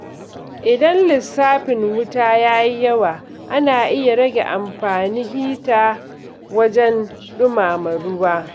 Idan lissafin wuta ya yi yawa, ana iya rage amfani hita wajen ɗumama ruwa.